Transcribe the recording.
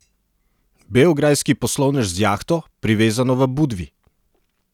Beograjski poslovnež z jahto, privezano v Budvi.